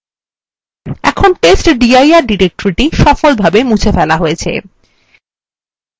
এখন testdir directory সফলভাবে মুছে ফেলা হয়েছে